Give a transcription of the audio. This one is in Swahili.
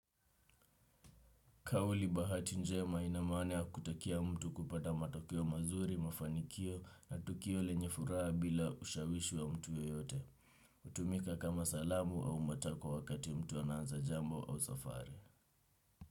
Kauli bahati njema inamaana ya kutakia mtu kupata matokeo mazuri, mafanikio na tukio lenye furaha bila ushawishu wa mtu yeyote. Utumika kama salamu au matakwa wakati mtu anaanza jambo au safari.